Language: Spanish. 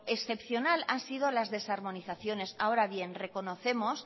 excepcional han sido las desarmonizaciones ahora bien reconocemos